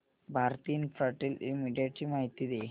Bharti Infratel limited ची माहिती दे